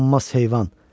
Qanmaz heyvan!